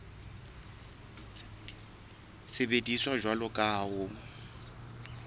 sebediswa jwalo ka ha ho